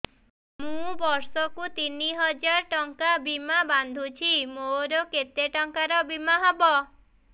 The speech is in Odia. ମୁ ବର୍ଷ କୁ ତିନି ହଜାର ଟଙ୍କା ବୀମା ବାନ୍ଧୁଛି ମୋର କେତେ ଟଙ୍କାର ବୀମା ହବ